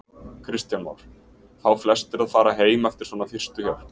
Kristján Már: Fá flestir að fara heim eftir svona fyrstu hjálp?